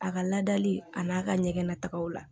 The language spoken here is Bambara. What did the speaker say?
A ka laadali a n'a ka ɲɛgɛn natagaw la